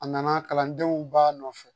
A nana kalandenw ba nɔfɛ